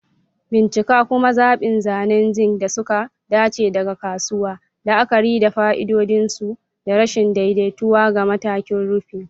Bincika kuma zaɓi zanen zinc da suka dace daga kasuwa, la'akari da fa'idodin su da rashin daidaituwa ga matakin rufin.